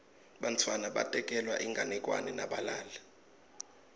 bantfwana batekelwa inganekwane nabalala